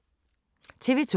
TV 2